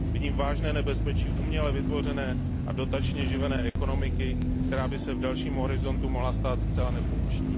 Vidím vážné nebezpečí uměle vytvořené a dotačně živené ekonomiky, která by se v delším horizontu mohla stát zcela nefunkční.